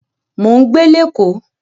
Mò ń gbé Lẹ́kọ́ọ̀